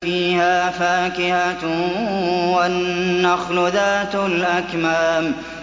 فِيهَا فَاكِهَةٌ وَالنَّخْلُ ذَاتُ الْأَكْمَامِ